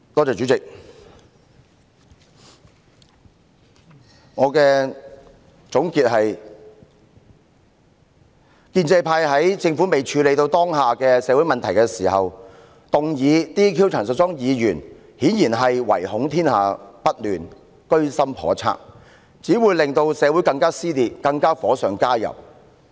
主席，我的總結是，建制派在政府尚未處理好當前的社會問題前動議解除陳淑莊議員的立法會議員職務，顯然是唯恐天下不亂，居心叵測，結果只會火上加油，令社會進一步撕裂。